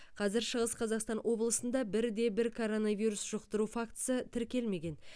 қазір шығыс қазақстан облысында бір де бір коронавирус жұқтыру фактісі тіркелмеген